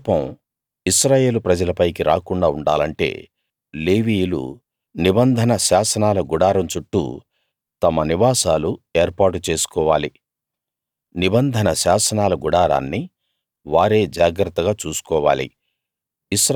నా కోపం ఇశ్రాయేలు ప్రజలపైకి రాకుండా ఉండాలంటే లేవీయులు నిబంధన శాసనాల గుడారం చుట్టూ తమ నివాసాలు ఏర్పాటు చేసుకోవాలి నిబంధన శాసనాల గుడారాన్ని వారే జాగ్రత్తగా చూసుకోవాలి